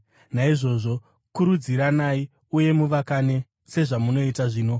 Naizvozvo kurudziranai uye muvakane, sezvamunoita zvino.